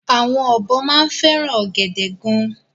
Àwọn ọ̀bọ máa ń fẹ́ràn ọ̀gẹ̀dẹ̀ gan-an.